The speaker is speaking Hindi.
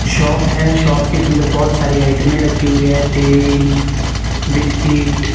शॉप है शॉप के अंदर बहुत सारी आइटमें रखी हुई है तेल बिस्किट ।